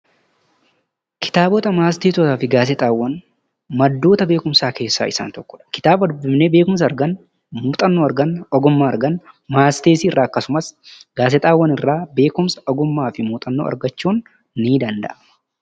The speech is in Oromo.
Kitaabota, matseetii fi Gaazexaawwan. Maddoota beekumsaa keessaa isaan tokkoo dha. Kan dubbifnee beekumsa argannu, muuxxannoo ,hubbannoo argannu fi ogummaa argannu matseetii irraa akkasumas gaazexaawwan irraa beekumsa, ogummaa fi muuxannoo argachuun ni danda'ama.